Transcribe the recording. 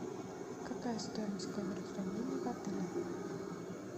какая стоимость камеры хранения в отеле